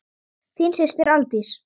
Þín systir, Aldís.